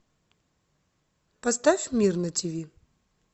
поставь мир на тв